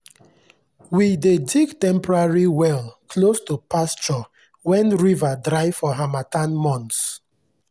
we dey dig temporary well close to pasture when river dry for harmattan months.